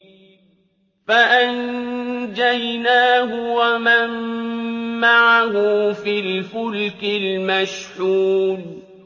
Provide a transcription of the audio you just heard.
فَأَنجَيْنَاهُ وَمَن مَّعَهُ فِي الْفُلْكِ الْمَشْحُونِ